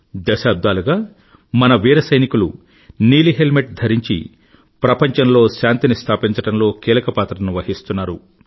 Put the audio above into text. దశాబ్దాలుగా మన వీర సైనికులు నీలి హెల్మెట్ ధరించి ప్రపంచంలో శాంతిని స్థాపించడంలో కీలక పాత్రను వహిస్తున్నారు